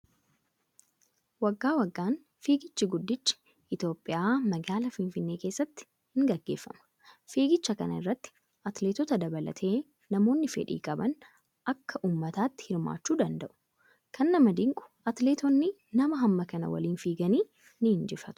Waggaa waggaan fiigichi guddichi Itoophiyaa magaalaa Finfinnee keessatti ni gaggeeffama. Fiigicha kana irratti atileetota dabalatee namoonni fedhii qaban akka uummataatti hirmaachuu danda'u. Kan nama dinqu atileetonni nama hamma kana waliin fiiganii ni injifatu.